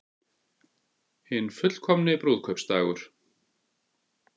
Hinn fullkomni brúðkaupsdagur